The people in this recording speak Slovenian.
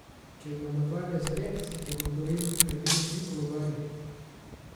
Če imamo dvanajst gred, bomo torej naredili tri kolobarje.